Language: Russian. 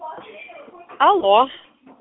алло